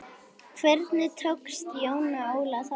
Hvernig tókst Jóni Óla það?